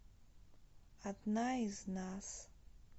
одна из нас